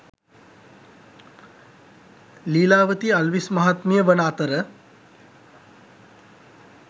ලීලාවතී අල්විස් මහත්මිය වන අතර